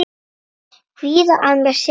Kvíða að mér setur.